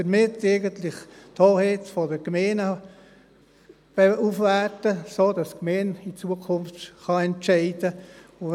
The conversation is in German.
Dies wertet die Hoheit der Gemeinden auf, sodass die Gemeinde in Zukunft entscheiden kann.